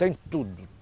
Tem tudo.